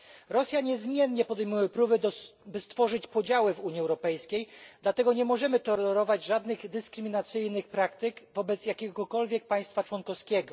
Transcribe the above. Rosja niezmiennie podejmuje próby, by stworzyć podziały w Unii Europejskiej, dlatego nie możemy tolerować żadnych dyskryminacyjnych praktyk wobec jakiegokolwiek państwa członkowskiego.